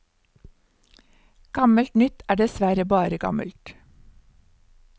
Gammelt nytt er dessverre bare gammelt.